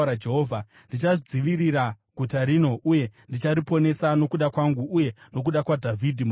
“Ndichadzivirira guta rino uye ndichariponesa, nokuda kwangu uye nokuda kwaDhavhidhi muranda wangu!”